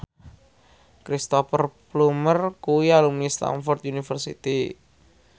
Cristhoper Plumer kuwi alumni Stamford University